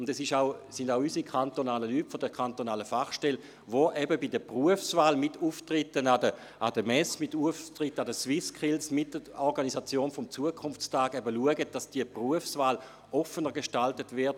Es sind auch unsere Leute von der kantonalen Fachstelle, die mit Auftritten wie beispielsweise an der SwissSkills und mit der Organisation des Zukunftstags schauen, dass die Berufswahl offener gestaltet wird.